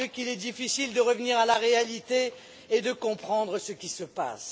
mon Dieu, qu'il est difficile de revenir à la réalité et de comprendre ce qui se passe.